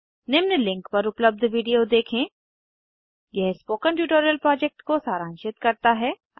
निम्न लिंक पर उपलब्ध वीडियो देखें यह स्पोकन ट्यूटोरियल प्रोजेक्ट को सारांशित करता है